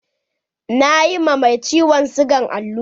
Na yi ma mai ciwon sigan allura.